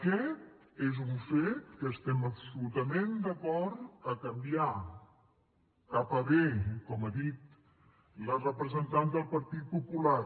aquest és un fet que estem absolutament d’acord a canviar cap a bé com ha dit la representant del partit popular